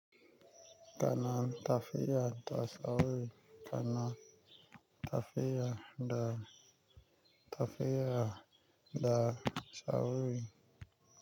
Kana tafiya da sawri, kana tafiya da, tafiya da sawri.